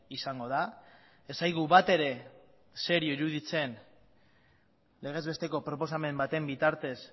izango da ez zaigu batere serio iruditzen legezbesteko proposamen baten bitartez